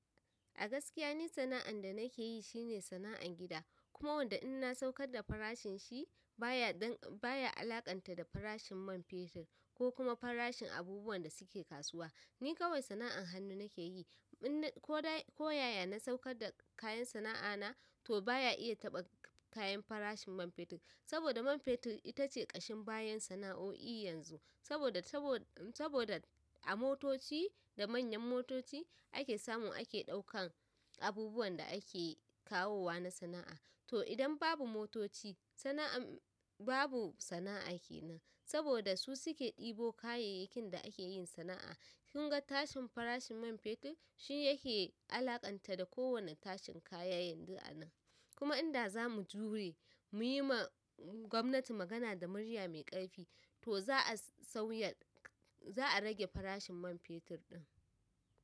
A gaskiya ni, sana'an da nake yi shine sana'an gida. Kuma wanda idan na saukar da farashin shi baya, baya alaƙanta da farashin man fetur ko kuma farashin abubuwan da suke kasuwa. Ni kawai sana'an hannu nake yi. Ko yaya na saukar da kayan sana'a na, to baya iya taɓa kayan farashin man fetur. Saboda man fetur itace ƙashin bayan sana'o'i yanzu. Saboda, saboda, saboda a motoci da manyan motoci ake samu ake ɗaukan abubuwan da ake kawowa na sana'a. To idan babu motoci, sana'an babu sana'a kenan. Saboda su suke ɗebo kayayyakin da ake yin sana'a. Kunga tashin farashin man fetur, shi yake alaƙanta da kowane tashin kaya yanzu a nan. Kuma idan zamu jure, muyi ma gwamnati magana da murya mai ƙarfi, to za a sauya, za a rage farashin man fetur ɗin.